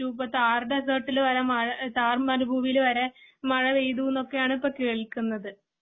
ഇപ്പോ ഥാർ ഡെസർട്ട് വരെ ഥാർ മരുഭൂമിയില് വരെ മഴ പെയ്തു എന്നൊക്കെയാണ് ഇപ്പോ കേൾക്കുന്നത്.